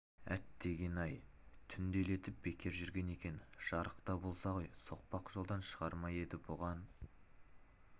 әттеген-ай түнделетіп бекер жүрген екен жарыкта болса ғой соқпақ жолдан шығар ма еді бұған